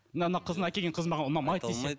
мына мына қызың әкелген қызың маған ұнамайды десе